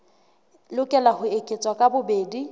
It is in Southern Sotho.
lokela ho eketswa ka bobedi